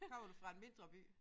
Kommer du fra en mindre by?